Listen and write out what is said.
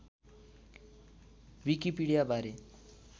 विकिकपिडिया बारे